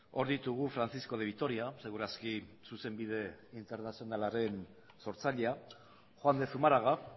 hor ditugu francisco de vitoria seguraski zuzenbide internazionalaren sortzailea juan de zumarraga